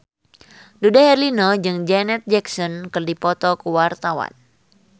Dude Herlino jeung Janet Jackson keur dipoto ku wartawan